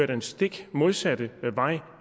den stik modsatte vej